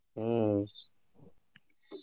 ಹ್ಮ